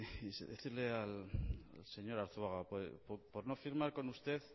decirle al señor arzuaga por no firmar con usted